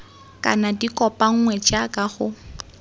kana di kopanngwe jaaka go